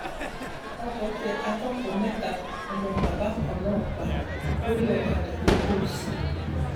ọkọ tẹ akẹkọọ mẹta ọmọ bàbá kan náà pa lórí ọkadà nìgbùnsìn